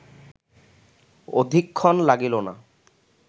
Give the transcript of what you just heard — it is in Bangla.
অধিকক্ষণ লাগিল না